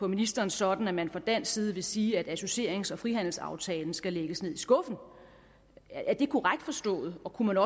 ministeren sådan at man fra dansk side vil sige at associerings og frihandelsaftalen skal lægges ned i skuffen er det korrekt forstået og kunne